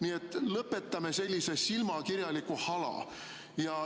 Nii et lõpetame selle silmakirjaliku hala.